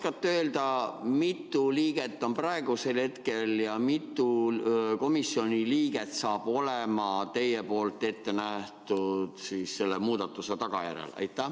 Kas te oskate öelda, mitu liiget on komisjonis praegu ja mitu liiget on edaspidi, teie tehtud muudatuse tulemusena?